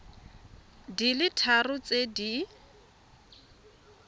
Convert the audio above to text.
di le tharo tse di